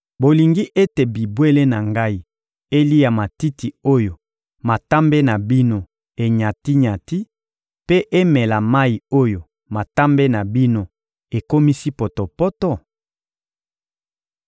Bolingi ete bibwele na Ngai elia matiti oyo matambe na bino enyati-nyati mpe emela mayi oyo matambe na bino ekomisi potopoto?